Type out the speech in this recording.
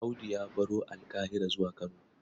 Audu ya baro Alƙahira zuwa Kano.